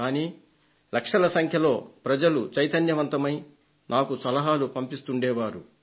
కానీ లక్షల సంఖ్యలో ప్రజలు చైతన్యవంతులై నాకు సలహాలు పంపిస్తూ ఉండే వారు